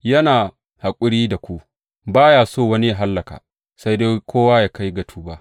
Yana haƙuri da ku, ba ya so wani yă hallaka, sai dai kowa yă kai ga tuba.